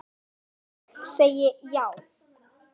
Ég segi já!